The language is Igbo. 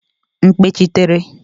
mkpechitere